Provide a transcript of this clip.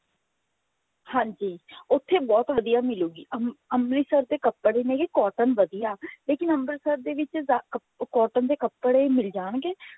ਹਾਂਜੀ ਉੱਥੇ ਬਹੁਤ ਵਧੀਆ ਮਿਲੂਗੀ ਅੰਮ੍ਰਿਤਸਰ ਦੇ ਕੱਪੜੇ ਨੇ cotton ਵਧੀਆ ਲੇਕਿਨ ਅੰਮ੍ਰਿਤਸਰ ਦੇ ਵਿੱਚ cotton ਦੇ ਕੱਪੜੇ ਮਿਲ ਜਾਣਗੇ